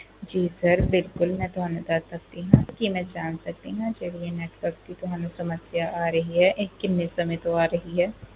ਜੀ sir ਬਿਲਕੁਲ ਮਈ ਤੁਹਾਨੂੰ ਦੱਸ ਸਕਦੀ ਆ ਕਿ ਮਈ ਜਾਂ ਸਕਦੀ ਆ ਇਹ ਜਿਹੜੀ ਤੁਹਾਨੂੰ network ਦੀ ਸਮੱਸਿਆ ਆ ਰਹੀ ਹੈ ਇਹ ਕਿੰਨੇ ਸਮੇ ਤੋਂ ਆ ਰਹੀ ਆ